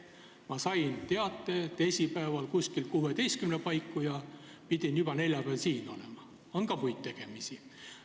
Ma sain teate teisipäeval kella 16 paiku ja pidin juba neljapäeval siin olema, kuid on ka muid tegemisi.